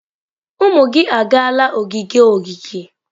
Ụmụ gị agaala ogige ogige?